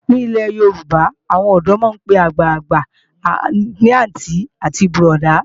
Ní ilé Yorùbá, àwọn ọ̀dọ́ máa ń pe àwọn àgbàgbà ní àntí àti bọ̀ọ̀dá“